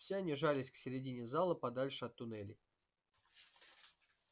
все они жались к середине зала подальше от туннелей